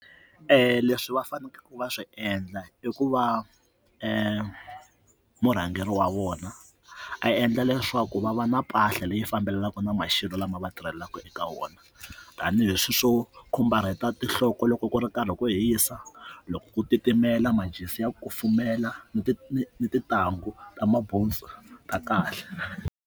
Leswi va faneleke va swi endla i ku va emurhangeri wa vona a endla leswaku va va na mpahla leyi fambelenaka na maxelo lama va tirhelaka eka wona wona tanihileswi swo khumbarheta tinhloko loko ku ri karhi ku hisa loko ku titimela majezi ya kufumela ni ni ni tintangu ta mabuntsu ta kahle.